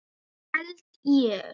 Held ég.